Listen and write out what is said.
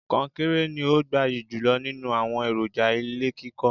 Kọnkéré ni ó gbayì jùlọ nínú àwọn èròjà ilé kíkọ́.